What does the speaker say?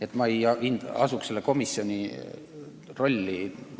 Aga ma ei asuks siin selle komisjoni rolli.